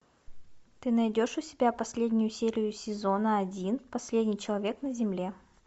ты найдешь у себя последнюю серию сезона один последний человек на земле